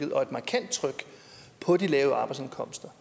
på de lave arbejdsindkomster